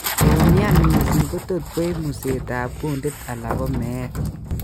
Keumian mising' kotot koib museet ab kundit ala komeet